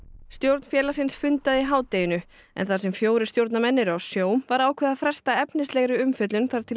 stjórn félagsins fundaði í hádeginu en þar sem fjórir stjórnarmenn eru á sjó var ákveðið að fresta efnislegri umfjöllun þar til